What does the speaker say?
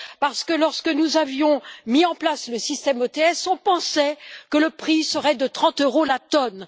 Parce que, lorsque nous avions mis en place le système OTS, on pensait que le prix serait de 30 euros la tonne.